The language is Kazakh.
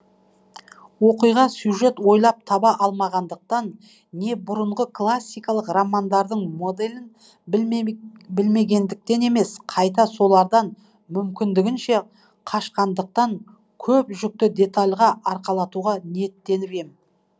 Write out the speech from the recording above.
оқиға сюжет ойлап таба алмағандықтан не бұрынғы классикалық романдардың моделін білмегендіктен емес қайта солардан мүмкіндігінше қашқандықтан көп жүкті детальға арқалатуға ниеттеніп ем